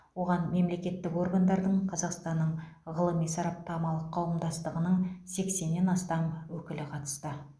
оған мемлекеттік органдардың қазақстанның ғылыми сараптамалық қауымдастығының сексеннен астам өкілі қатысты